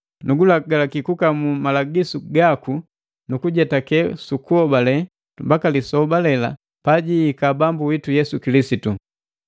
nugulagalaki gukamula malagisu gaku nukujetake sukuhobale mbaka lisoba lela pajihika Bambu witu Yesu Kilisitu.